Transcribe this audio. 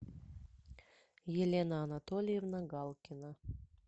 елена анатольевна галкина